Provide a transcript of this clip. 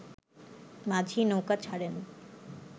মাঝি নৌকা ছাড়েন